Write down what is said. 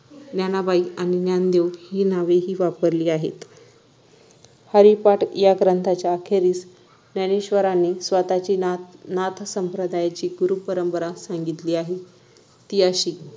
ज्ञानाबाई आणि ज्ञानदेव हि नावेही वापरली आहेत हरिपाठ या ग्रंथाच्या अखेरीस ज्ञानेश्वरांनी स्वतःची नाथ नाथसंप्रदायाची गुरुपरंपरा सांगितली आहे ती अशी